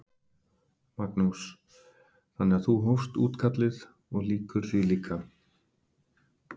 Magnús: Þannig að þú hófst útkallið og lýkur því líka?